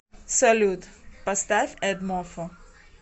салют поставь эдмофо